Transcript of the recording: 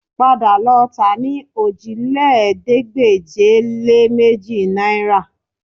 Padà lọ tà á ní òjìlélẹ́ẹ̀ẹ́dégbèje-lé-méjì náìrà